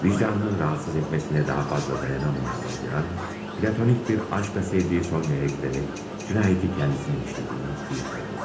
Vicdanının narahat etməsinə daha fazla dayanamayan Rodyan, platonik bir aşqla sevdiyi Sonyaya gedərək cinayəti özünün işlədiyini etiraf edər.